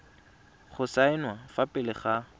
go saenwa fa pele ga